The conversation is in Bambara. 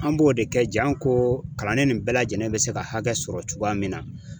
An b'o de kɛ janko kalanden ni bɛɛ lajɛlen bɛ se ka hakɛ sɔrɔ cogoya min na.